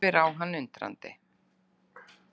Horfir á hann undrandi.